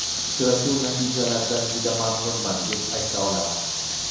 Uchrashuv natijalaridan juda mamnunman, deb ayta olaman.